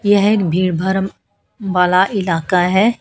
यह एक भीड़ भारम बाला इलाका है।